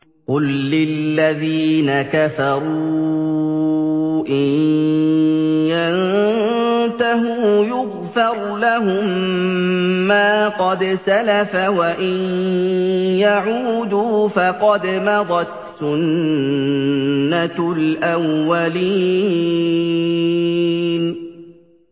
قُل لِّلَّذِينَ كَفَرُوا إِن يَنتَهُوا يُغْفَرْ لَهُم مَّا قَدْ سَلَفَ وَإِن يَعُودُوا فَقَدْ مَضَتْ سُنَّتُ الْأَوَّلِينَ